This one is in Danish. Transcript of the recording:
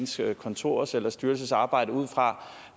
sit kontors eller sin styrelses arbejde ud fra